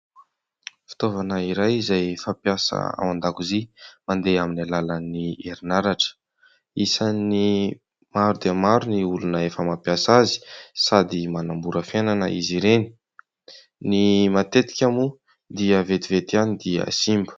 Fitaovana iray izay fampiasa ao an-dakozia mandeha amin'ny alalan'ny herin'aratra. Isan'ny maro dia maro ny olona efa mampiasa azy sady manamora fiainana izy ireny. Ny matetika moa dia vetivety ihany dia simba.